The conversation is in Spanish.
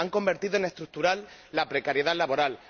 Han convertido en estructural la precariedad laboral.